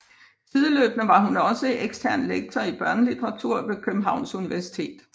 Sideløbende var hun også ekstern lektor i børnelitteratur på Københavns Universitet